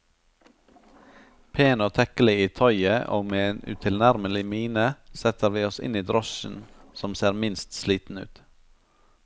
Pen og tekkelig i tøyet og med en utilnærmelig mine setter vi oss inn i drosjen som ser minst sliten ut.